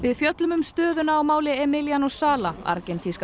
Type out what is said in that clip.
fjöllum um stöðuna á máli sala argentínska